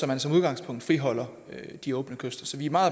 man som udgangspunkt friholder de åbne kyster så vi er meget